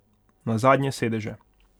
Na zadnje sedeže.